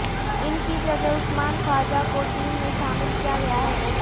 ان کی جگہ عثمان خواجہ کو ٹیم میں شامل کیا گیا ہے